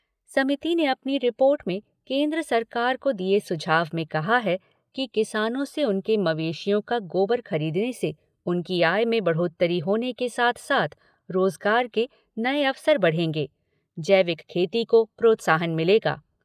समिति ने अपनी रिपोर्ट में केन्द्र सरकार को दिए सुझाव में कहा है कि किसानों से उनके मवेशियों का गोबर खरीदने से उनकी आय में बढ़ोतरी होने के साथ साथ रोजगार के नए अवसर बढ़ेगे, जैविक खेती को प्रोत्साहन मिलेगा।